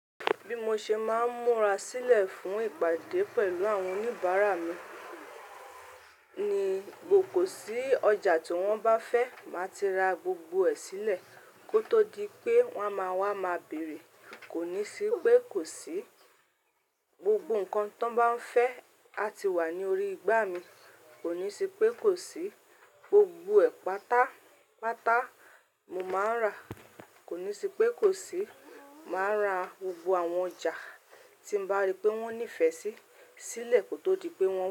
Bí mo ṣe máa ń múra sílẹ̀ fún ìpàdé pẹ̀lú àwọn oníbàárà mi ni gbogbo sí ọjà tí wọ́n bá fẹ́, màá ti ra gbogbo ẹ̀ sílẹ̀ kó tó di pé wọ́n máa wá, máa bèrè. Kò ní sí pé kò sí. Gbogbo nǹkan tí wọ́n bá fẹ́ á ti wà ní orí igbá mi. Kò ní sí pé kò sí. Gbogbo ẹ̀ pátápátá mo máa ń rà. Kò ní sí pé kò sí. Màá ra gbogbo àwọn ọjà tí mo bá rí pé wọ́n nífẹ̀ẹ́ sí sílẹ̀ kó tó di pé wọ́n.